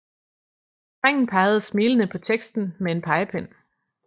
Drengen peger smilende på teksten med en pegepind